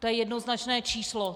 To je jednoznačné číslo.